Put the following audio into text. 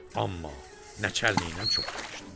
Amma nəçənlərlə çox danışdı.